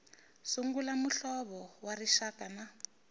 sungula muhlovo wa rixaka na